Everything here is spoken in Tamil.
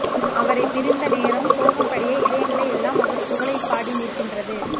அவரை பிரிந்த நேரம் சோகம்படிய இதயங்கள் எல்லாம் அவர் புகழைபாடி நிற்கின்றது